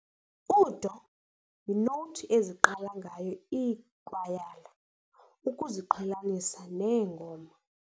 U-doh yinowuthi eziqala ngayo iikwayala ukuziqhelanisa neengoma.